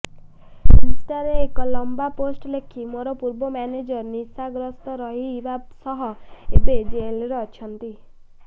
ଇନ୍ଷ୍ଟାରେ ଏକ ଲମ୍ବା ପୋଷ୍ଟ ଲେଖି ମୋର ପୂର୍ବ ମ୍ୟାନେଜର ନିଶାଗ୍ରସ୍ତ ରହିବା ସହ ଏବେ ଜେଲରେ ଅଛି